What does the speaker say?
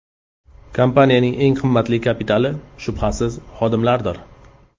Kompaniyaning eng qimmatli kapitali, shubhasiz, xodimlardir.